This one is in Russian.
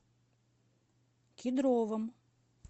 кедровом